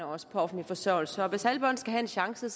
også på offentlig forsørgelse hvis alle børn skal have en chance